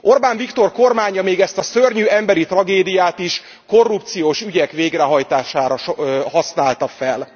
Orbán Viktor kormánya még ezt a szörnyű emberi tragédiát is korrupciós ügyek végrehajtására használta fel.